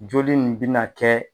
Joli nin bi na kɛ